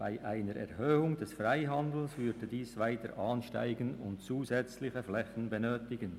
Bei einer Erhöhung des Freihandels würde diese weiter ansteigen und zusätzliche Flächen benötigen.